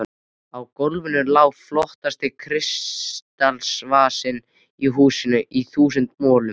Á GÓLFINU LÁ FLOTTASTI KRISTALSVASINN Í HÚSINU Í ÞÚSUND MOLUM!